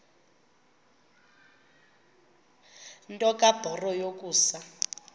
nto kubarrow yokusa